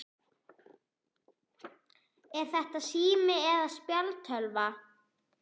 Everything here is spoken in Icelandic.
Er þetta sími eða spjaldtölva?